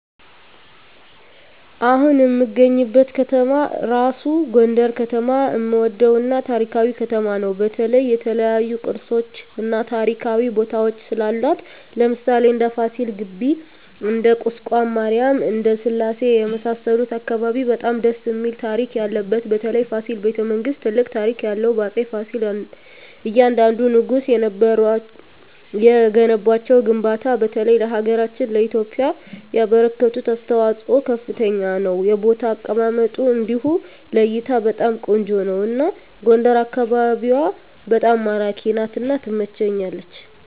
አሁን እምገኝበት ከተማ እራሡ ጎንደር ከተማ እምወደው እና ታሪካዊ ከተማ ነው በተለይ የተለያዮ ቅርሶች እና ታሪካዊ ቦታወች ስላሏት ለምሣሌ እንደ ፍሲል ግቢ እንደ ቁስቋም ማሪያም እንደ ስላሴ የመሣሠሉት አካባቢ በጣም ደስ እሚል ታሪክ ያለበት በተለይ ፋሲል በተ መንግስት ትልቅ ታሪክ ያለው በአፄ ፍሲል እያንደንዱ ንጉስ የገነቧቸው ግንባታ በተለይ ለሀገራችን ለኢትዮጵያ ያበረከቱት አስተዋፅኦ ከፍተኛ ነው የቦታ አቀማመጡ እንዲሁ ለእይታ በጣም ቆንጆ ነው አና ጎንደር አካቢዋ በጣም ማራኪ ናት እና ትመቸኛለች